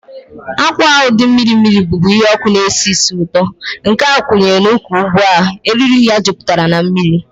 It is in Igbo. Akwa ahụ dị mmiri mmiri, bụ́bu ihe ọkụ na-esi ísì ụtọ, nke a kwụnyere n'ụkwwụ ugbu a, eriri ya jupụtara na mmiri.